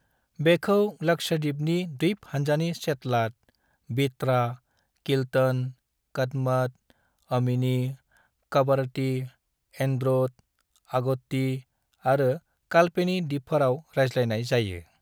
बेखौ लक्षद्वीपनि द्वीप हान्जानि चेतलाट, बित्रा, किल्टन, कदमत, अमिनी, कवरत्ती, एंड्रोथ, अगत्ती आरो कल्पेनी दिपफोराव रायज्लायनाय जायो।